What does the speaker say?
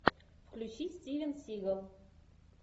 включи стивен сигал